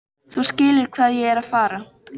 Þú skilur hvað ég er að fara.